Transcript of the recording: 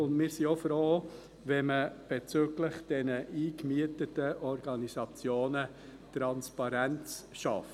Auch sind wir froh, wenn man bezüglich der eingemieteten Organisationen Transparenz schafft.